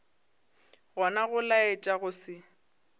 gona go laetša go se